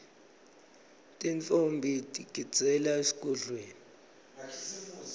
tintfombi tigidzela esigodlweni